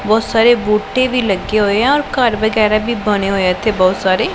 ਬਹੁਤ ਸਾਰੇ ਬੂਟੇ ਵੀ ਲੱਗੇ ਹੋਏ ਆ ਔਰ ਘਰ ਵਗੈਰਾ ਵੀ ਬਣੇ ਹੋਏ ਆ ਇੱਥੇ ਬਹੁਤ ਸਾਰੇ।